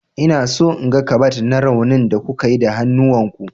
Eh, ina so in ga ƙabad na raunin da kuka yi da hannuwan ku.